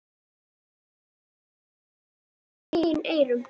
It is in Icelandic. Fyrst trúði ég ekki mínum eigin eyrum.